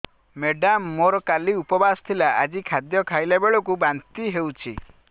madam ମୋର କାଲି ଉପବାସ ଥିଲା ଆଜି ଖାଦ୍ୟ ଖାଇଲା ବେଳକୁ ବାନ୍ତି ହେଊଛି